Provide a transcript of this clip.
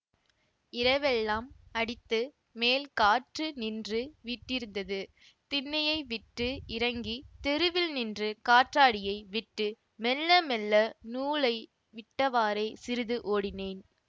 இரவெல்லாம் அடித்து மேல் காற்று நின்று விட்டிருந்தது திண்ணையை விட்டு இறங்கி தெருவில் நின்று காற்றாடியை விட்டு மெல்ல மெல்ல நூலை விட்டவாறே சிறிது ஓடினேன்